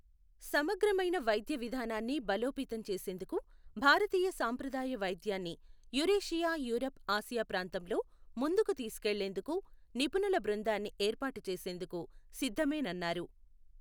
సమగ్రమైన వైద్య విధానాన్ని బలోపేతం చేసేందుకు భారతీయ సంప్రదాయ వైద్యాన్ని యురేషియా యూరప్ ఆసియా ప్రాంతంలో ముందుకు తీసుకెళ్లేందుకు నిపుణుల బృందాన్ని ఏర్పాటు చేసేందుకు సిద్ధమేనన్నారు.